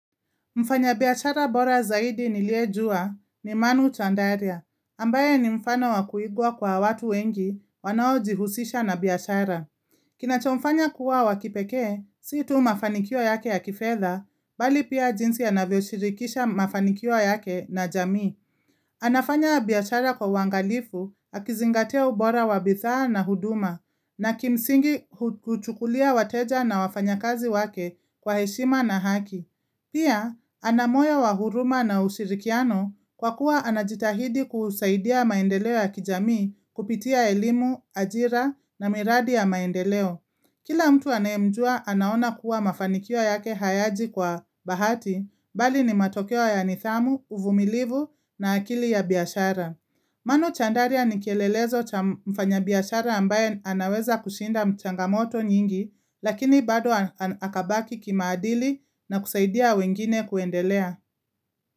Mfanyabiyachara bora zaidi niliyejua ni Manu Chandaria, ambaye ni mfano wa kuigwa kwa watu wengi wanaojihusisha na biashara. Kinachomfanya kuwa wa kipekee, si tu mafanikio yake ya kifedha, bali pia jinsi anavyoshirikisha mafanikio yake na jamii. Anafanya biashara kwa uangalifu, akizingatia ubora wa bidhaa na huduma, na kimsingi huchukulia wateja na wafanyakazi wake kwa heshima na haki. Pia, ana moyo wa huruma na ushirikiano kwa kuwa anajitahidi kusaidia maendeleo ya kijamii kupitia elimu, ajira na miradi ya maendeleo. Kila mtu anayemjua anaona kuwa mafanikio yake hayaji kwa bahati, bali ni matokeo ya nidhamu, uvumilivu na akili ya biashara. Manu Chandaria ni kielelezo cha mfanyabiashara ambaye anaweza kushinda changamoto nyingi lakini bado akabaki kimaadili na kusaidia wengine kuendelea.